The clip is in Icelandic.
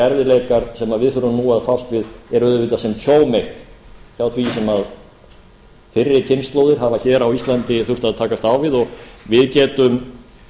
erfiðleikar sem við þurfum nú að fást við eru auðvitað sem hjóm eitt hjá því sem fyrri kynslóðir hafa hér á íslandi þurft að takast á við og við getum